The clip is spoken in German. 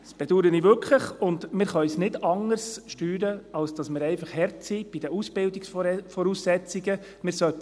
Dies bedaure ich wirklich, und wir können es nicht anders steuern, als dass wir bei den Ausbildungsvoraussetzungen wirklich hart sind.